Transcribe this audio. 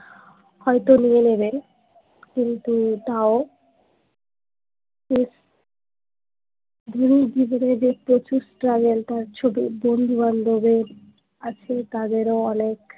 হয়ত নিয়ে নেবেন কিন্তু তাও অনেক বন্ধু বান্ধবের আত্মীয় আর তাদের অনেক